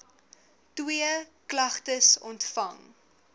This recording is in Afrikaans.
twee klagtes ontvang